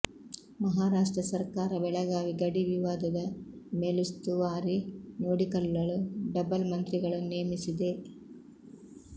ಮಹಾರಾಷ್ಟ್ರ ಸರ್ಕಾರ ಬೆಳಗಾವಿ ಗಡಿ ವಿವಾದದ ಮೇಲುಸ್ತುವಾರಿ ನೋಡಿಕೊಳ್ಳಲು ಡಬಲ್ ಮಂತ್ರಿಗಳನ್ನು ನೇಮಿಸಿದೆ